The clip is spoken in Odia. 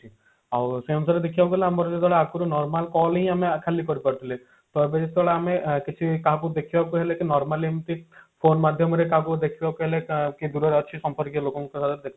ଆଉ ସେହି ଅନୁସାରେ ଦେଖିବାକୁ ଗଲେ ଆମର ଆକୁ ଯଦି ଆମେ normal call ହିଁ ଆମେ ଖାଲି କରିପାରୁଥିଲେ ଟା ପରେ ଆମେ ଯଦି କାହାକୁ କେମତି ଦେଖିବାକୁ ଗଲେ କି normal ଏମତି phone ମାଧ୍ୟମରେ ଏମତି ଦେଖିବାକୁ ହେଲେ କି କିଏ ଦୂରରେ ଅଛି ସମ୍ପର୍କୀୟ ଲୋକଙ୍କୁ